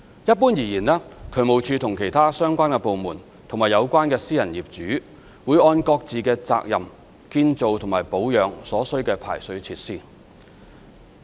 一般而言，渠務署和其他相關部門及有關私人業主會按各自的責任建造及保養所需的排水設施。